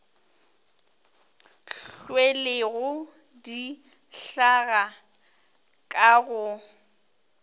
hlwelego di hlaga ka go